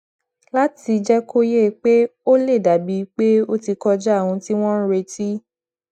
láti jé kó yé e pé ó lè dà bíi pé ó ti kọjá ohun tí wón ń retí